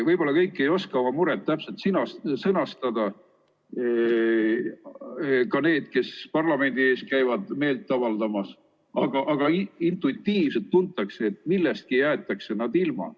Võib-olla kõik ei oska oma muret täpselt sõnastada, ka need, kes parlamendi ees käivad meelt avaldamas, aga intuitiivselt tuntakse, et millestki jäetakse nad ilma.